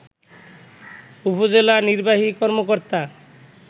উপজেলা নির্বাহী কর্মকর্তা